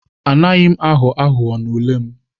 Anaghị m aghọ aghụghọ n'ule m.